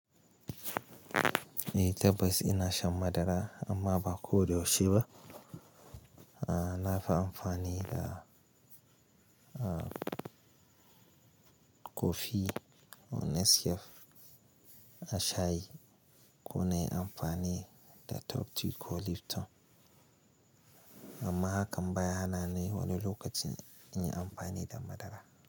Eh tabbas ina shan madara amma ba ko da yaushe ba. A nafi amfani da kofi ko nescafe a shayi ko na yi amfani da top tea ko Lipton. Amma hakan ba ya hana ni wani lokacin in yi amfani da madara.